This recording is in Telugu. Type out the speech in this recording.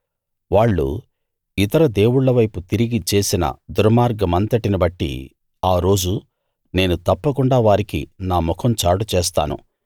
వాళ్ళు ఇతర దేవుళ్ళ వైపు తిరిగి చేసిన దుర్మార్గమంతటిబట్టి ఆ రోజు నేను తప్పకుండా వారికి నా ముఖం చాటు చేస్తాను